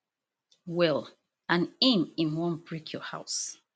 well and im im wan break your house